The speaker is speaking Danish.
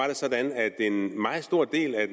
det sådan at en meget stor del af